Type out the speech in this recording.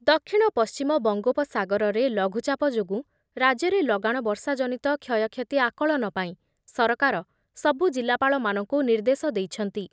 ଦକ୍ଷିଣ ପଶ୍ଚିମ ବଙ୍ଗୋପସାଗରରେ ଲଘୁଚାପ ଯୋଗୁଁ ରାଜ୍ୟରେ ଲଗାଣ ବର୍ଷା ଜନିତ କ୍ଷୟକ୍ଷତି ଆକଳନ ପାଇଁ ସରକାର ସବୁ ଜିଲ୍ଲାପାଳମାନଙ୍କୁ ନିର୍ଦ୍ଦେଶ ଦେଇଛନ୍ତି ।